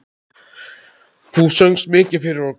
Þú söngst mikið fyrir okkur.